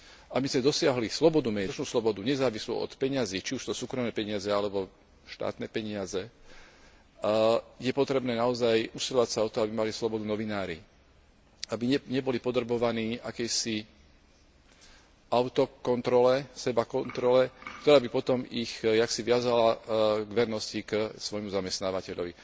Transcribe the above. Aby sme dosiahli slobodu médií, skutočnú slobodu nezávislú od peňazí, či už sú to súkromné peniaze alebo štátne peniaze, je potrebné naozaj usilovať sa o to, aby mali slobodu novinári, aby neboli podrobovaní akejsi autokontrole, sebakontrole, ktorá by potom ich akosi viazala k vernosti k svojmu zamestnávateľovi.